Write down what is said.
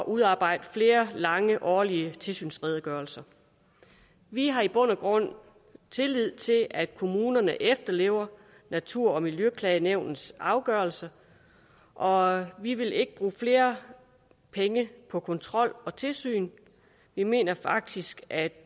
at udarbejde flere lange årlige tilsynsredegørelser vi har i bund og grund tillid til at kommunerne efterlever natur og miljøklagenævnets afgørelser og vi vil ikke bruge flere penge på kontrol og tilsyn vi mener faktisk at